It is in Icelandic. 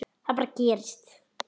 Það bara gerist.